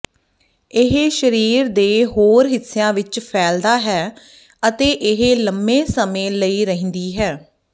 ਇਹ ਸਰੀਰ ਦੇ ਹੋਰ ਹਿੱਸਿਆਂ ਵਿੱਚ ਫੈਲਦਾ ਹੈ ਅਤੇ ਇਹ ਲੰਬੇ ਸਮੇਂ ਲਈ ਰਹਿੰਦੀ ਹੈ